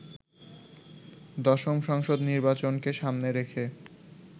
দশম সংসদ নির্বাচনকে সামনে রেখে